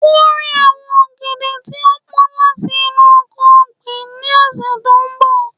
Kore awọn ogede ti o pọn lati inu oko-ọgbin ni ọsẹ to nbọ